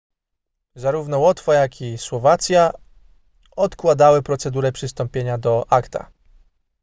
zarówno łotwa jak i słowacja odkładały procedurę przystąpienia do acta